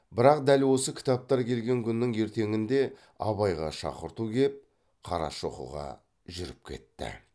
бірақ дәл осы кітаптар келген күннің ертеңінде абайға шақырту кеп қарашоқыға жүріп кетті